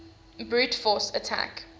brute force attack